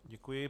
Děkuji.